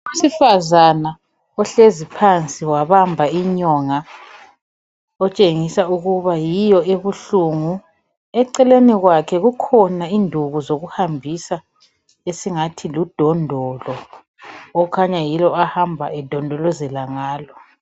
Owesifazana ohlezi phansi wabamba inyonga otshengisa ukuba yiyo ebuhlungu eceleni kwakhe kukhona induku zokuhambisa esingathi ludondolo okukhanya yilo ahamba edondolozela ngalo.